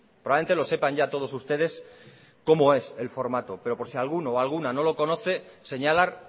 probablemente lo sepan ya todos ustedes cómo es el formato pero por si alguno o alguna no lo conoce señalar